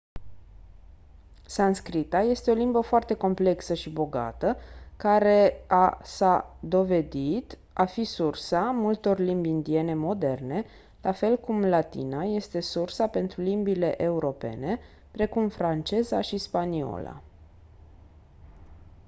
sanscrita este o limbă foarte complexă și bogată care a s-a dovedit a fi sursa multor limbi indiene moderne la fel cum latina este sursa pentru limbile europene precum franceza și spaniola